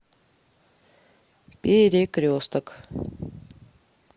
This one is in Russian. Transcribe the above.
перекресток